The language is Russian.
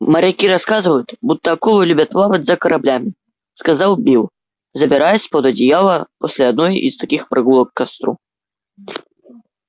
моряки рассказывают будто акулы любят плавать за кораблями сказал билл забираясь под одеяло после одной из таких прогулок к костру